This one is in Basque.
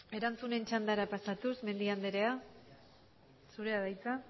erantzunen txandara pasatuz mendia andrea zurea da hitza